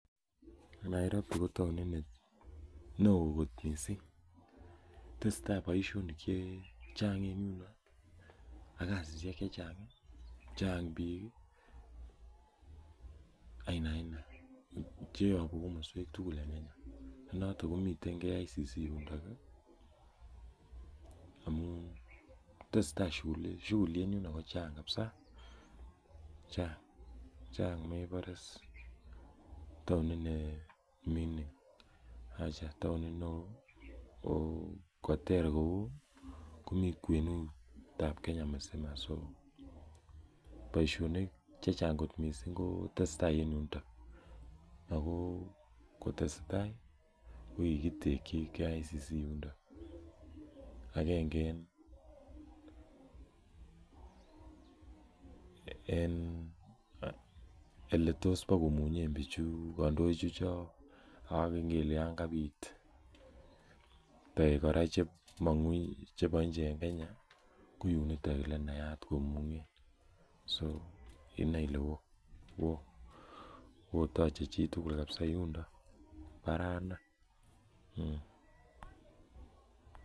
Nairobi ko taonit neo kot missing, tesetai boisionik chechang en yuno ak kasisiek chechang, chang biik ii aina aina cheyobu komoswek tugul en Kenya, nenoton komiten KICC yundok ii amun tesetai shughuli, shughuli en yundon kochang kabsa, chang' mebore is taonit ne ming'in acha taonit neo koter kou komi kwenut ab Kenya misima, so boisionik chechang kot missing ko tesetai en yuniton ako kotesetai ko kikitekyi KICC yuniton, agenge en oletos bokomunyen bichu, kandoik chuchok akele yan kabit kora toek chebuni inje en Kenya, ko yuniton elenaat komunyen, so inoe ile woo toche chitugul kabza yundon, baraa inei.